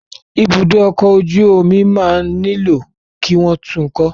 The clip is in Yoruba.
Ibùdó ọkọ̀ ojú omi máa nílò kí wọ́n tun kọ́.